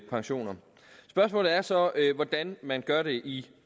pensioner spørgsmålet er så hvordan man gør det i